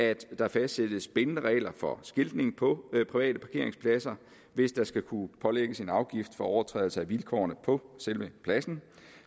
at der fastsættes bindende regler for skiltning på private parkeringspladser hvis der skal kunne pålægges en afgift for overtrædelse af vilkårene på selve pladsen